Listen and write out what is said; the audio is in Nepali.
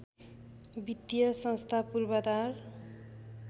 वित्तीय संस्था पूर्वाधार